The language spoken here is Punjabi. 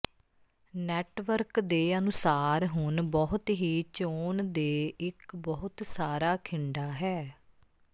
ਨੈੱਟਵਰਕ ਦੇ ਅਨੁਸਾਰ ਹੁਣ ਬਹੁਤ ਹੀ ਚੋਣ ਦੇ ਇੱਕ ਬਹੁਤ ਸਾਰਾ ਖਿੰਡਾ ਹੈ